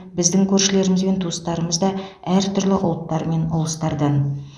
біздің көршілеріміз бен туыстарымыз да әр түрлі ұлттар мен ұлыстардан